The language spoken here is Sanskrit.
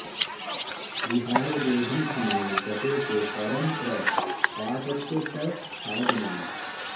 विहाय देहं समये गते ते परम्प्रपातस्य त साधनानि